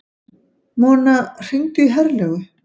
Mona, hringdu í Herlaugu.